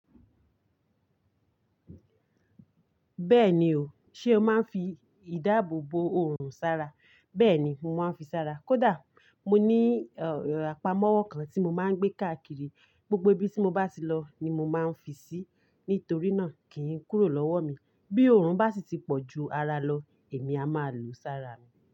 Bẹ́ẹ̀ni o, ṣe o máa ń fi ìdáàbò bo òrùn sára? Bẹ́ẹ̀ni, mo máa ń fi sára. Kódà mo ní àpamọ́wọ́ kan tí mo máa ń gbé káàkiri, gbogbo ibi tí mo bá ti lọ ni mo máa ń fi sí, nítorí náà kì í kúrò lọ́wọ́ mi. Bí òrùn bá sì ti pọ̀ ju ara lọ, èmi a máa lo sára mi.